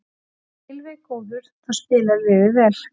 Þegar Gylfi er góður þá spilar liðið vel.